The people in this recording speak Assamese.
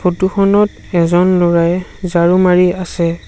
ফটো খনত এজন লৰাই ঝাড়ু মাৰি আছে।